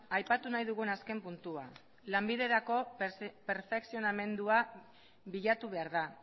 aipatu nahi dugun azken puntua lanbiderako perfekzionamendua bilatu behar da